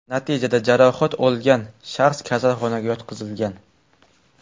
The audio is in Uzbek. Natijada jarohat olgan shaxs kasalxonaga yotqizilgan.